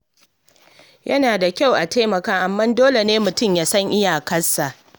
Yana da kyau a taimaka, amma dole ne mutum ya san iyakarsa.